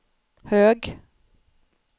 hög